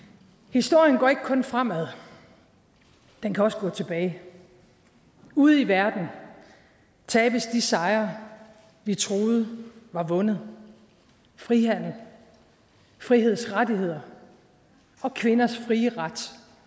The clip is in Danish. historien går ikke kun fremad den kan også gå tilbage ude i verden tabes de sejre vi troede var vundet frihandel frihedsrettigheder og kvinders frie ret